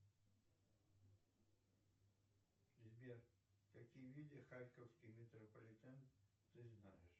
сбер какие виды харьковский метрополитен ты знаешь